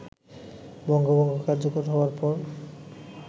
বঙ্গভঙ্গ কার্যকর হওয়ার পর